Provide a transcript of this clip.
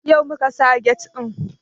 Yau muka sa get ɗin